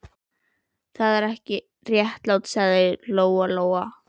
Þetta er ekki réttlátt, sagði Lóa-Lóa.